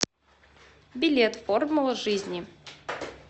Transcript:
билет формула жизни